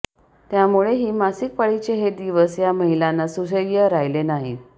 त्यामुळेही मासिक पाळीचे हे दिवस या महिलांना सुसह्य राहिले नाहीत